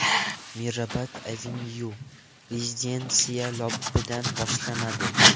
Mirabad Avenue : Rezidensiya lobbidan boshlanadi.